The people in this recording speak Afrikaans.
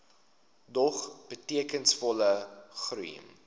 dog betekenisvolle groei